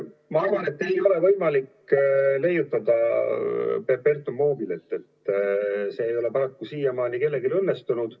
Ma arvan, et ei ole võimalik leiutada perpetuum mobile't, see ei ole paraku siiamaani kellelgi õnnestunud.